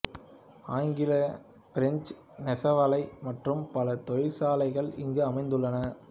Anglo French நெசவாலை மற்றும் பல தொழிற்சாலைகள் இங்கு அமைந்துள்ளன